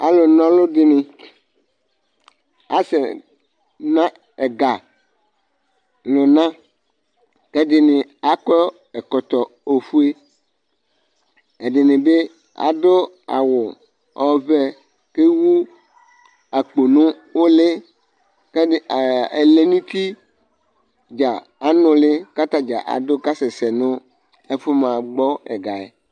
alʊnɔɗɩnɩ asɛna ɛgalʊna ɛɗɩnɩ aƙɔ ɛƙɔtɔ oƒʊe ɛɗɩnɩɓɩ aɗʊ awʊ ɔʋɛ ƙewʊ aƙponʊ ʊlɩ ɛlɛnʊtɩ anʊlɩ ƙatanɩɗja ƙasɛ nʊ aƴaʋa ƙamahagɓɔ ɛgaƴɛ